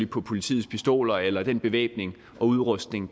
på politiets pistoler eller den bevæbning og udrustning